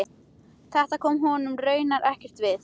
Þetta kom honum raunar ekkert við.